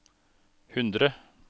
hundre